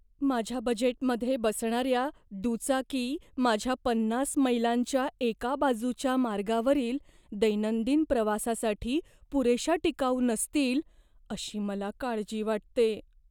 माझ्या बजेटमध्ये बसणाऱ्या दुचाकी माझ्या पन्नास मैलांच्या एका बाजूच्या मार्गावरील दैनंदिन प्रवासासाठी पुरेशा टिकाऊ नसतील, अशी मला काळजी वाटते.